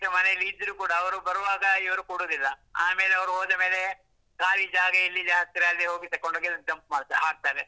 ಮನೆಯಲ್ಲಿ ಇದ್ರೂ ಕುಡಾ ಅವರು ಬರುವಾಗ ಇವರು ಕೊಡುದಿಲ್ಲ, ಆಮೇಲೆ ಅವರು ಹೋದ ಮೇಲೆ ಖಾಲಿ ಜಾಗ ಎಲ್ಲಿ ಹತ್ರ ಅಲ್ಲಿ ಹೋಗಿ ತಗೊಂಡು ಹೋಗಿ dump ಮಾಡ್ತಾರೆ, ಹಾಕ್ತಾರೆ.